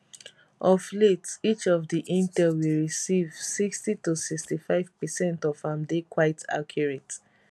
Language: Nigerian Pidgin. of late each of di intel we receive 60 to 65 per cent of am dey quite accurate